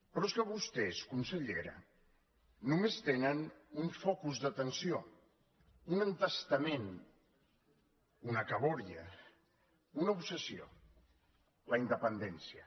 però és que vostès consellera només tenen un focus d’atenció un entestament una cabòria una obsessió la independència